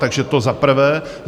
Takže to za prvé.